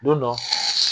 Don dɔ